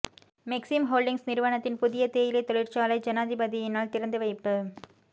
Maxim Holdings நிறுவனத்தின் புதிய தேயிலை தொழிற்சாலை ஜனாதிபதியினால் திறந்து வைப்பு